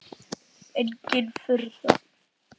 Engin furða.